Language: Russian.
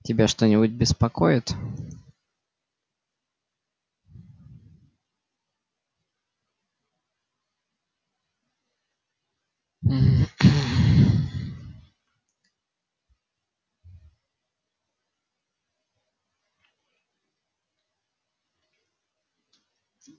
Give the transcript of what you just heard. тебя что-нибудь беспокоит